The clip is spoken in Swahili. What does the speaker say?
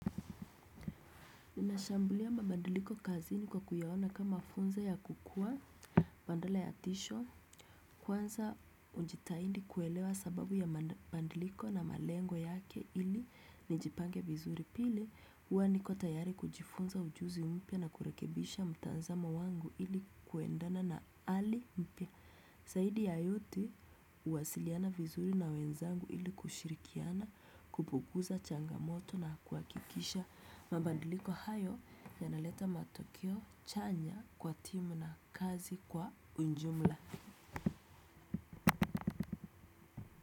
Ninashambulia mabandiliko kazini kwa kuyaona kama funzo ya kukua bandala ya tisho kwanza ujitahidi kuona mabandiliko na malengo yake ili nijipange vizuri pili huwa niko tayari kujifunza ujuzi mpya na kurekebisha mtazamo wangu ili kuendana na hali mpya. Saidi ya yote uwasiliana vizuri na wenzangu ili kushirikiana kupuguza changamoto na kuakikisha mabandiliko hayo yanaleta matokio chanya kwa timu na kazi kwa unjumla.